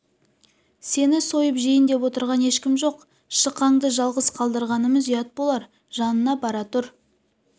сені сойып жейін деп отырған ешкім жоқ шықаңды жалғыз қалдырғанымыз ұят болар жанына бара тұр